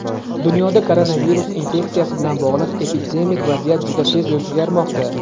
Dunyoda koronavirus infeksiyasi bilan bog‘liq epidemik vaziyat juda tez o‘zgarmoqda.